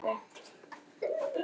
Á hún tölvu?